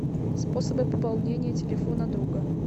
способы пополнения телефона друга